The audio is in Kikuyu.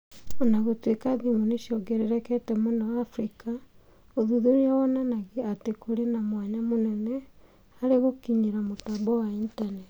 O na gũtuĩka thimũ nĩ ciongererekete mũno Africa, ũthuthuria wonanagia atĩ kũrĩ na mwanya mũnene harĩ gũkinyĩra mũtambo wa Intaneti.